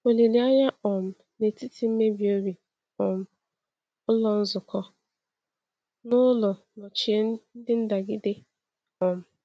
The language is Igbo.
Olileanya um N’etiti Mmebi Obi — um Ụlọ Nzukọ n’Ụlọ Nọchie Ndị Ndagide. um